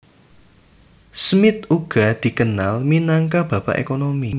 Smith uga dikenal minangka Bapak Ekonomi